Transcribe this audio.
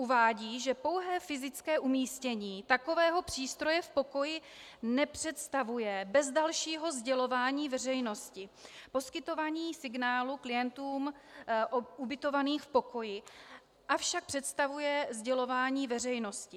Uvádí, že pouhé fyzické umístění takového přístroje v pokoji nepředstavuje bez dalšího sdělování veřejnosti poskytování signálu klientům ubytovaným v pokoji, avšak představuje sdělování veřejnosti.